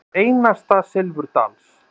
Eins einasta silfurdals.